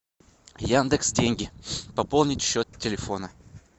яндекс деньги пополнить счет телефона